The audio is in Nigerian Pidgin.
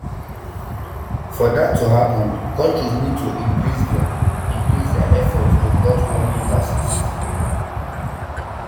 for dat to happen countries need to increase dia increase dia efforts to cut warming gases